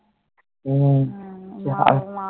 হম